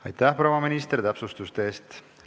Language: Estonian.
Aitäh, proua minister, täpsustuste eest!